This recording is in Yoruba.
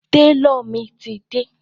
Tálọ̀ mi ti dé.